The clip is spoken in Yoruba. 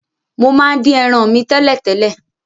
Mo máa n dín eran mi tẹ̀lẹ́tẹ̀lẹ́